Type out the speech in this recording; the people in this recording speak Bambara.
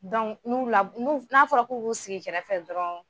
n'u la n'a fɔra ku ki sigi kɛrɛfɛ dɔrɔn.